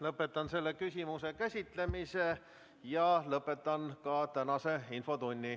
Lõpetan selle küsimuse käsitlemise ja lõpetan ka tänase infotunni.